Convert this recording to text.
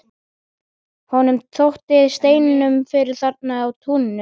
Honum þótti steinninn fyrir þarna í túninu.